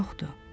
Yoxdur.